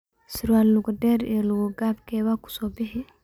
Sarwal luga deer iyo luga kaab keeba kusobixi?